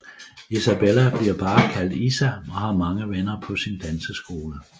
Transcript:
Isabella bliver bare kaldt Isa og har mange venner på sin danseskole